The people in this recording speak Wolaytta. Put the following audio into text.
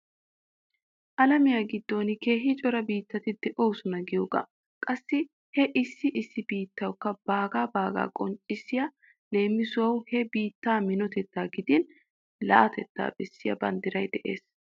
Alamiya giddon keehin cora biittati de'oosona giyoogaa. Qassi he issi issi biittawukka baaga baaga qonccissiya leemisuwawu he biittaa minotettaa gidin la'atettaa bessiya banddiray de'ees.